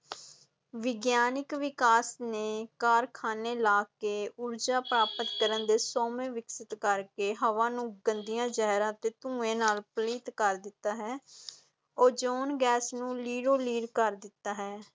ਵਿਗਿਆਨਿਕ ਵਿਕਾਸ ਨੇ ਕਾਰਖ਼ਾਨੇ ਲਾ ਕੇ ਊਰਜਾ ਪ੍ਰਾਪਤ ਕਰਨ ਦੇ ਸੋਮੇ ਵਿਕਸਿਤ ਕਰ ਕੇ ਹਵਾ ਨੂੰ ਗੰਦੀਆਂ ਜ਼ਹਿਰਾਂ ਤੇ ਧੂੰਏ ਨਾਲ ਪਲੀਤ ਕਰ ਦਿੱਤਾ ਹੈ ਓਜ਼ੋਨ ਗੈਸ ਨੂੰ ਲੀਰੋ ਲੀਰ ਕਰ ਦਿੱਤਾ ਹੈ।